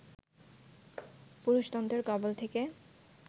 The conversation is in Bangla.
পুরুষতন্ত্রের কবল থেকে